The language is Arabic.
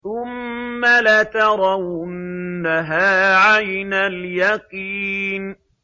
ثُمَّ لَتَرَوُنَّهَا عَيْنَ الْيَقِينِ